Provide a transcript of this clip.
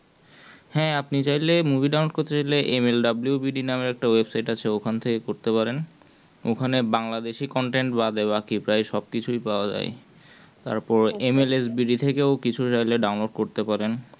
হ্যাঁ আপনি movie download করতে চাইলে MLWBD বলে website ওখান থেকে করতে পারেন